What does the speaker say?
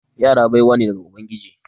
Yara baiwa ne daga ubangiji.